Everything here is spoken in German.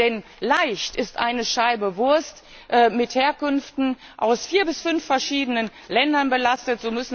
Denn leicht ist eine Scheibe Wurst mit Herkünften aus vier bis fünf verschiedenen Ländern belastet.